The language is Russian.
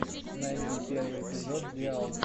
найди первый эпизод диал